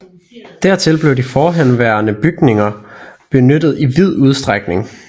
Dertil blev de forhåndenværende bygninger benyttet i vid udstrækning